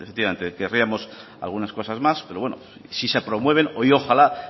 efectivamente querríamos algunas cosas más pero bueno si se promueven hoy ojalá